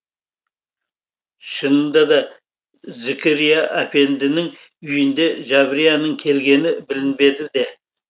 шынында да зікірия әпендінің үйінде жабрияның келгені білінбеді де